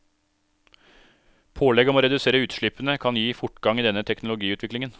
Pålegg om å redusere utslippene kan gi fortgang i denne teknologiutviklingen.